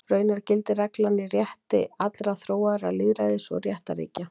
Raunar gildir reglan í rétti allra þróaðra lýðræðis- og réttarríkja.